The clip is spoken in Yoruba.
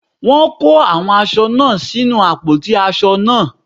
Wọ́n kó àwọn aṣọ náà sínu àpótí aṣọ náà.